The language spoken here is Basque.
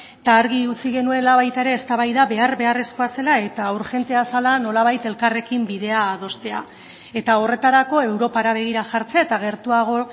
eta argi utzi genuela baita ere eztabaida behar beharrezkoa zela eta urgentea zela nolabait elkarrekin bidea adostea eta horretarako europara begira jartzea eta gertuago